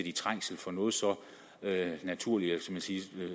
i trængsel for noget så naturligt